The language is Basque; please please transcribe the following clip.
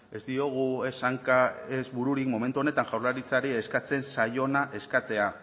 ez diogu ez hanka ez bururik momentu honetan jaurlaritzari eskatzen zaiona eskatzea